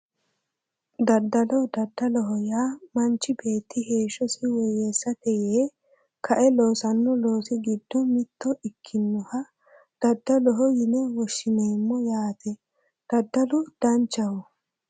Daddalo daddaloho yaa manchi beetti heeshshosi woyyeessate yee kae loosanno loosi giddonni mitto ikkinoha daddaloho yine woshshineemmo yaate daddalu danchaho